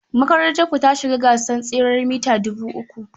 Makarantarku ta shiga gasar tseren mita dubu uku?